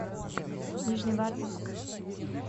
нижневартовск